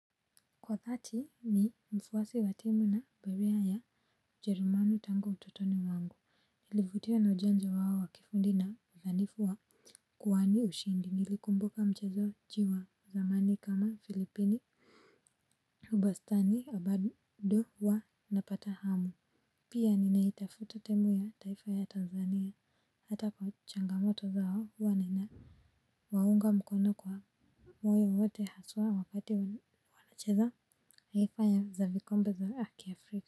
Kwa dhati ni mfuasi wa timu na berea ya ujerumani tangu ututoni mwangu. Nilivutiwa na ujenzi wao wa kifundi na uzanifu wa kwani ushindi, nilikumbuka mchezoji wa zamani kama filipini ubastani na bado huwa napata hamu. Pia ninaitafuta timu ya taifa ya Tanzania hata kwa changamoto zao huwa nina waunga mkono kwa moyo wote haswa wakati wanacheza taifa ya za vikombe za kiafrika.